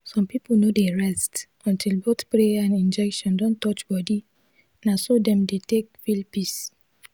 some people no dey rest until both prayer and injection don touch body na so dem dey take feel peace.